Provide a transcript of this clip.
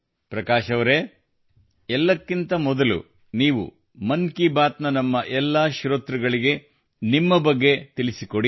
ಪ್ರಕಾಶ್ಅವರೆ ಎಲ್ಲಕ್ಕಿಂತ ಮೊದಲು ನೀವು ಮನ್ ಕಿ ಬಾತ್ ನ ನಮ್ಮ ಎಲ್ಲಾ ಶ್ರೋತೃಗಳಿಗೆ ನಿಮ್ಮ ಬಗ್ಗೆ ತಿಳಿಸಿಕೊಡಿ